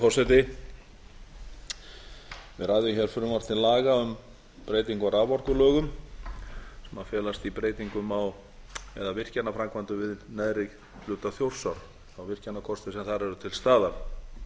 ræðum hér frumvarp til laga um breytingu á raforkulögum sem felast í breytingum á eða virkjanaframkvæmdum við neðri hluta þjórsár þá virkjanakosti sem þar eru til staðar áður